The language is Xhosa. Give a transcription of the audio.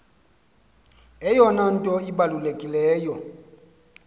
eyona nto ibalulekileyo